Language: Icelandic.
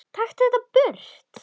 Taktu þetta burt!